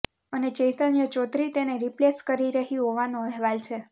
અને ચૈતન્ય ચૌધરી તેને રીપ્લેસ કરી રહી હોવાનો અહેવાલ છે